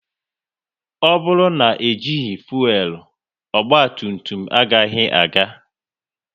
Ọ bụrụ na ejighi fuelu, ogba tum tum agaghị aga